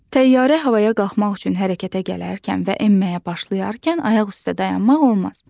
Təyyarə havaya qalxmaq üçün hərəkətə gələrkən və enməyə başlayarkən ayaq üstə dayanmaq olmaz.